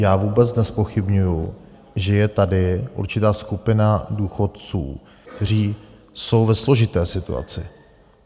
Já vůbec nezpochybňuji, že je tady určitá skupina důchodců, kteří jsou ve složité situaci.